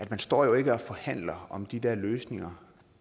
man står jo ikke og forhandler om de der løsninger